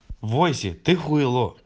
войсе ты хуйло